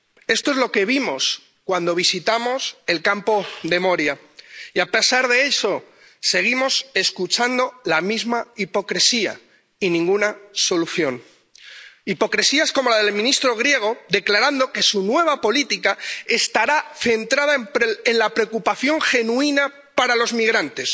Esto es lo que vimos cuando visitamos el campo de Moria y, a pesar de eso, seguimos escuchando la misma hipocresía y ninguna solución. Hipocresías como la del ministro griego, declarando que su nueva política estará centrada en la preocupación genuina por los migrantes.